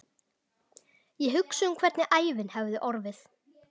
Ég hugsa um hvernig ævin hefði orðið.